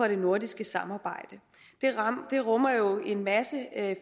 det nordiske samarbejde det rummer jo en masse